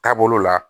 Taabolo la